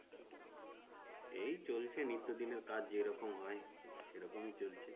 এই চলছে নিত্যদিনের কাজ যেরকম হয় সেরকমই চলছে।